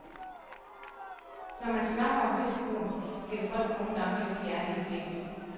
Når man snakker om risikoen, bliver folk nogen gange lidt fjerne i blikket.